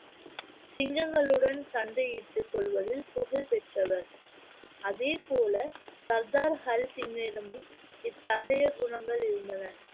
சிங்கங்களுடன் சண்டையிட்டுக் கொல்வதில் புகழ் பெற்றவர் அதே போல சர்தார் ஹரி சிங்கிடமும் இத்தகைய குணங்கள் இருந்தன